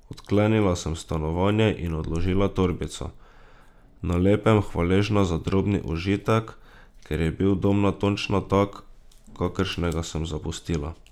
Odklenila sem stanovanje in odložila torbico, na lepem hvaležna za drobni užitek, ker je bil dom natančno tak, kakršnega sem zapustila.